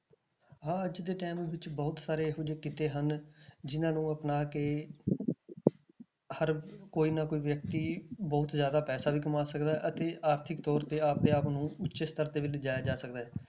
ਹਾਂ ਅੱਜ ਦੇ time ਵਿੱਚ ਬਹੁਤ ਸਾਰੇ ਇਹੋ ਜਿਹੇ ਕਿੱਤੇ ਹਨ ਜਿੰਨਾਂ ਨੂੰ ਅਪਣਾ ਕੇ ਹਰ ਕੋਈ ਨਾ ਕੋਈ ਵਿਅਕਤੀ ਬਹੁਤ ਜ਼ਿਆਦਾ ਪੈਸਾ ਕਮਾ ਸਕਦਾ ਹੈ ਅਤੇ ਆਰਥਿਕ ਤੌਰ ਤੇ ਆਪਦੇ ਆਪ ਨੂੰ ਉੱਚੇ ਸਤਰ ਤੇ ਵੀ ਲਿਜਾਇਆ ਜਾ ਸਕਦਾ ਹੈ।